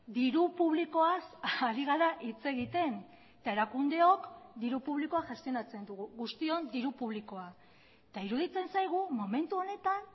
diru publikoaz ari gara hitz egiten eta erakundeok diru publikoa gestionatzen dugu guztion diru publikoa eta iruditzen zaigu momentu honetan